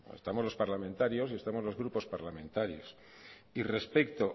estamos los parlamentarios y estamos los grupos parlamentarios y respecto